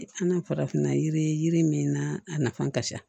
An ka farafinna yiri min na a nafan ka ca